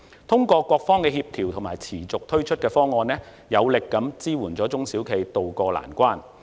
通過各方的協調和持續推出的方案，有力地支援中小型企業渡過難關。